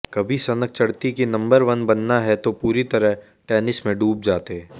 कभी सनक चढ़ती कि नंबर वन बनना है तो पूरी तरह टेनिस में डूब जाते